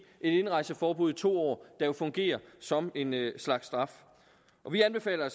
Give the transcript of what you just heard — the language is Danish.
indrejseforbud i to år der jo fungerer som en slags straf vi anbefaler